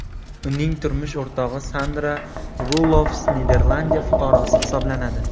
Uning turmush o‘rtog‘i Sandra Rulofs Niderlandiya fuqarosi hisoblanadi.